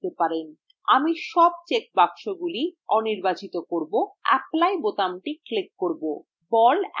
আমি সব check বাক্সগুলি allনির্বাচিত করব এবং apply বোতামটি click করব